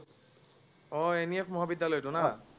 আহ NEF মহাবিদ্যালয়টো